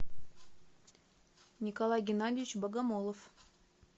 николай геннадьевич богомолов